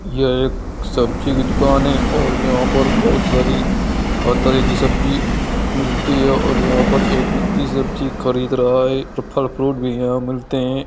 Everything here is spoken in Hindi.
ये एक सब्जी की दुकान है और यहाँ पर बहुत सारी हर तरह की सब्जी मिलती है और यहाँ पर एक व्यक्ति सब्जी खरीद रहा है और फल फ्रूट भी यहाँ मिलते है।